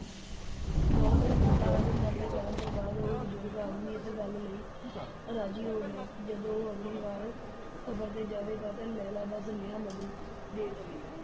ਬਹੁਤ ਮਿੰਨਤਾਂ ਅਤੇ ਤਰਲੇ ਕਰਣ ਤੋਂ ਬਾਅਦ, ਉਹ ਬਜ਼ੁਰਗ ਆਦਮੀ ਇਸ ਗੱਲ ਲਈ ਰਾਜ਼ੀ ਹੋ ਗਿਆ ਕਿ ਜਦ ਉਹ ਅਗਲੀ ਬਾਰ ਸਫ਼ਰ ਤੇ ਜਾਵੇਗਾ ਤਾਂ ਲੈਲਾ ਦਾ ਸੁਨੇਹਾ ਮਜਨੂੰ ਨੂੰ ਦੇ ਦੇਵੇਗਾ।